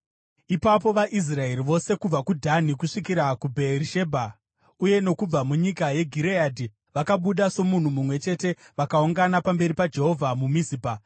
Ipapo vaIsraeri vose kubva kuDhani kusvikira kuBheerishebha uye nokubva munyika yeGireadhi vakabuda somunhu mumwe chete vakaungana pamberi paJehovha muMizipa.